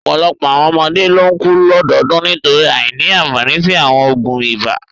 Ọ̀pọ̀lọpọ̀ àwọn ọmọdé ló ń kú lọ́dọọdún nítorí àìní àfààní sí àwọn oògùn ibà.